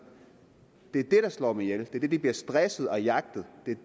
det er det der slår dem ihjel det at de bliver stresset og jagtet